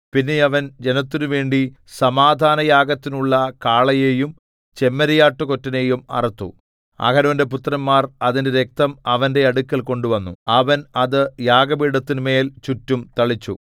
പിന്നെ അവൻ ജനത്തിനുവേണ്ടി സമാധാനയാഗത്തിനുള്ള കാളയെയും ചെമ്മരിയാട്ടുകൊറ്റനെയും അറുത്തു അഹരോന്റെ പുത്രന്മാർ അതിന്റെ രക്തം അവന്റെ അടുക്കൽ കൊണ്ടുവന്നു അവൻ അത് യാഗപീഠത്തിന്മേൽ ചുറ്റും തളിച്ചു